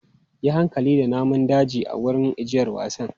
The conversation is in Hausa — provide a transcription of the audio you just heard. Yi hankali da namun daji a wurin ajiyar wasan!